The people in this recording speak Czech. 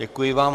Děkuji vám.